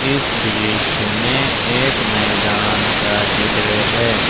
इस दृश्य में एक मैदान का चित्र है।